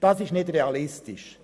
Das ist nicht realistisch.